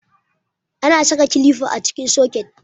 Ana saka kilifa a cikin soket.